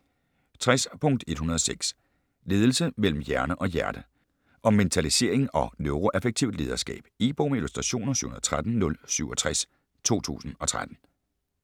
60.106 Ledelse mellem hjerne og hjerte Om mentalisering og neuroaffektivt lederskab. E-bog med illustrationer 713067 2013.